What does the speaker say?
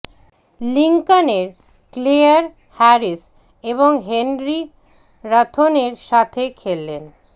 Lincoln এর Claire Harris এবং Henry রাথ্বোনের সাথে খেলেন